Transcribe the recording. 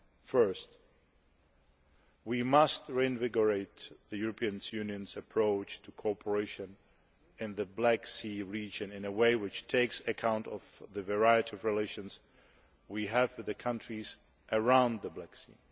Firstly, we must reinvigorate the European Union's approach to cooperation in the Black Sea region in a way which takes account of the variety of relations we have with the countries around the Black Sea.